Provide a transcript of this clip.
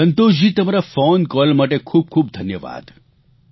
સંતોષજી તમારા ફોનકોલ માટે ખૂબખૂબ ધન્યવાદ